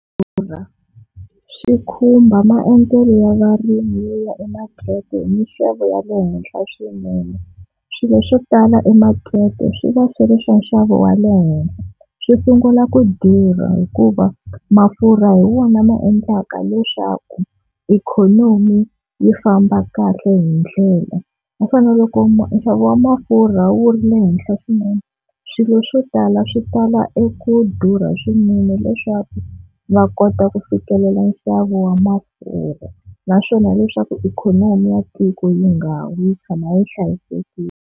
Durha swi khumba maendlelo ya varimi yo ya emakete hi mixavo ya le henhla swinene, swilo swo tala emakete swi va swi ri swa nxavo wa le henhla swi sungula ku durha hikuva mafurha hi wona ma endlaka leswaku ikhonomi yi famba kahle hi ndlela. Ma fanele loko nxavo wa mafurha wu ri le henhla swinene swilo swo tala swi tala eku durha swinene leswaku va kota ku fikelela nxavo wa mafurha, naswona leswaku ikhonomi ya tiko yi nga wi yi tshama yi hlayisekile.